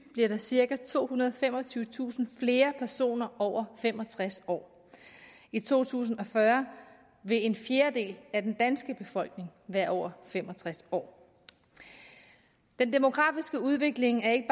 bliver der cirka tohundrede og femogtyvetusind flere personer over fem og tres år i to tusind og fyrre vil en fjerdedel af den danske befolkning være over fem og tres år den demografiske udvikling er ikke